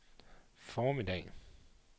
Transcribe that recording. formiddag